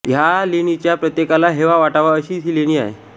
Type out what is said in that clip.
ह्या लेणीच्या प्रत्येकाला हेवा वाटावा अशीच ही लेणी आहे